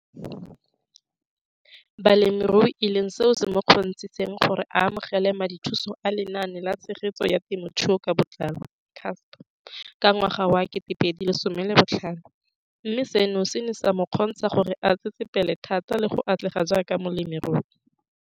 Balemirui e leng seo se mo kgontshitseng gore a amogele madithuso a Lenaane la Tshegetso ya Te mothuo ka Botlalo, CASP] ka ngwaga wa 2015, mme seno se ne sa mo kgontsha gore a tsetsepele thata le go atlega jaaka molemirui.